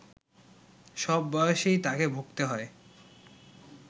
সব বয়সেই তাকে ভুগতে হয়